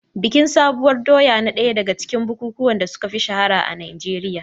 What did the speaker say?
Bikin sabuwar doya na ɗaya daga cikin bukukuwan da suka fi shahara a Najeriya.